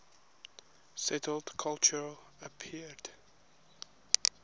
settled culture appeared